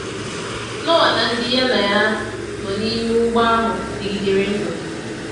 Noa na ndị ya na ha nọ n’ime ụgbọ ahụ dịgidere ndụ.